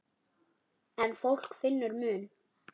En fólk finnur mun.